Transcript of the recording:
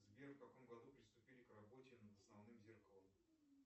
сбер в каком году приступили к работе над основным зеркалом